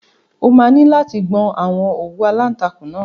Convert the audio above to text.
O máa ní láti gbọn àwọn òwú aláǹtakùn náà.